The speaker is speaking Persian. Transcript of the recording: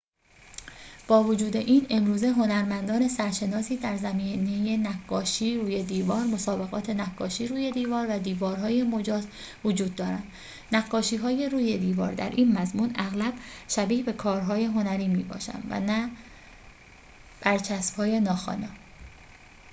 با وجود این امروزه هنرمندان سرشناسی در زمینه نقاشی روی دیوار مسابقات نقاشی روی دیوار و دیوارهای مجاز وجود دارند نقاشی‌های روی دیوار در این مضمون اغلب شبیه به کارهای هنری می‌باشند و نه برچسب‌های ناخوانا